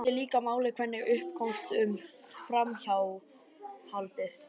Það skiptir líka máli hvernig upp komst um framhjáhaldið.